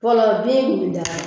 Fɔlɔ bin kun bi daga.